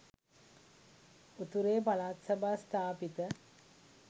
උතුරේ පළාත් සභා ස්ථාපිත